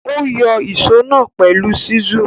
Ó yọ ìsó náà pẹ̀lú ṣísù.